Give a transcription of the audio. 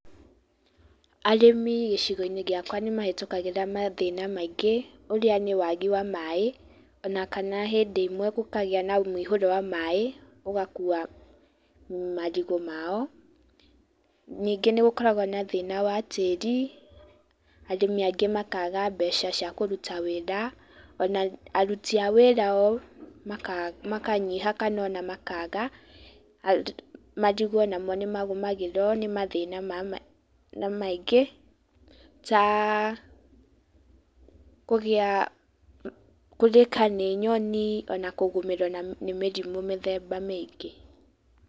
Arĩmi gĩcigo-inĩ giakwa nĩmahetũkagĩra mathĩna maingĩ ũrĩa nĩ wagi wa maaĩ, na kana hĩndĩ ĩmwe gũkagĩa na mũihũro wa maaĩ, ũgakuua marigũ mao. Ningĩ nĩgũkoragwo na thĩna wa tĩĩri. Arĩmi angĩ makaaga mbeca cia kũruta wĩra, ona aruti a wĩra o makanyiha ona kana makaaga. Marigũ onamo nĩmagũmagĩrwo nĩ mathĩna maingĩ, ta kũrĩĩka nĩ nyoni na kũgũmĩrwo nĩ mĩrimũ mĩthemba mĩingĩ.